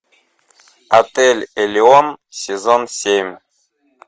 отель элеон сезон семь